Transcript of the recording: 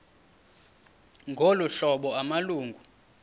ngolu hlobo amalungu